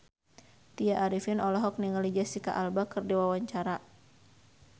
Tya Arifin olohok ningali Jesicca Alba keur diwawancara